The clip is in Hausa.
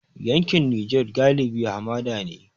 Yankin Nijar galibi hamada ne.